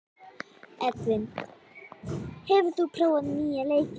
Edvin, hefur þú prófað nýja leikinn?